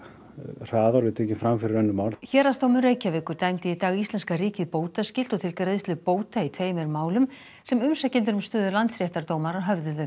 hraðar og þau eru tekin fram fyrir önnur mál héraðsdómur Reykjavíkur dæmdi í dag íslenska ríkið bótaskylt og til greiðslu bóta í tveimur málum sem umsækjendur um stöðu landsréttardómara höfðuðu